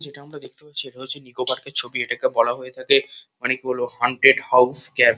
যেটা আমরা দেখতে পাচ্ছি এটা হচ্ছে নিকো পার্কের ছবি এটাকে বলা হয়ে থাকে অনেক বড় হন্টে়ট হাউস ক্যাম্প ।